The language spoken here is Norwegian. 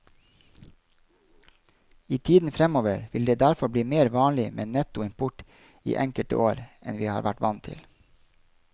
I tiden fremover vil det derfor bli mer vanlig med netto import i enkelte år enn vi har vært vant til.